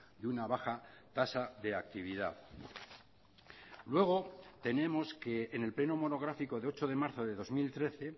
de una baja tasa de actividad luego tenemos que en el pleno monográfico de ocho de marzo de dos mil trece